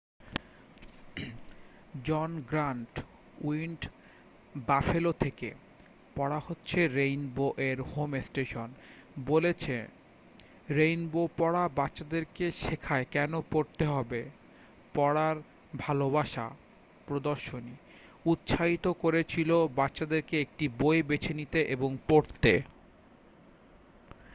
"জন Grant Wind Buffalo থেকে পড়া হচ্ছে রেইনবো-এর হোম স্টেশন বলেছে রেইনবো পড়া বাচ্চাদেরকে শেখায় কেন পড়তে হবে ...পড়ার ভালোবাসা -[ প্রদর্শনী ] উৎসাহিত করেছিল বাচ্চাদেরকে একটি বই বেছে নিতে এবং পড়তে।"